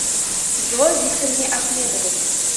зое викторовне ахмедовой